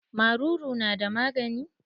Maruru na da magani?